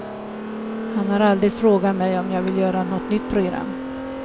Han har aldrig frågat mig om jag vill göra något nytt program.